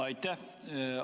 Aitäh!